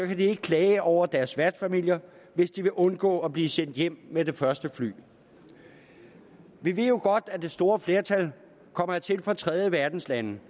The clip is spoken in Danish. de ikke klage over deres værtsfamilier hvis de vil undgå at blive sendt hjem med det første fly vi ved jo godt at det store flertal kommer hertil fra tredjeverdenslande